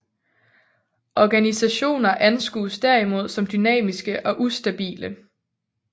Organisationer anskues derimod som dynamiske og ustabile